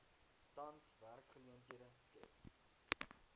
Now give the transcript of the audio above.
tans werksgeleenthede skep